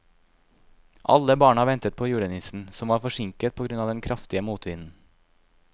Alle barna ventet på julenissen, som var forsinket på grunn av den kraftige motvinden.